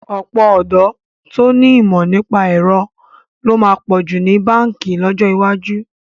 Ọ̀pọ̀ ọ̀dọ́ tó ní ìmọ̀ nípa ẹ̀rọ ló máa pọ̀ ní báǹkì lọ́jọ́ iwájú.